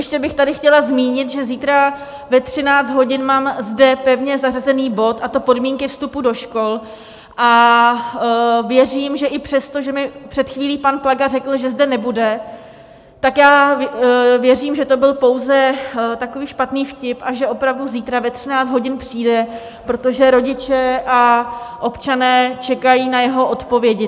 Ještě bych tady chtěla zmínit, že zítra ve 13 hodin mám zde pevně zařazený bod, a to Podmínky vstupu do škol, a věřím, že i přesto, že mi před chvílí pan Plaga řekl, že zde nebude, tak já věřím, že to byl pouze takový špatný vtip a že opravdu zítra ve 13 hodin přijde, protože rodiče a občané čekají na jeho odpovědi.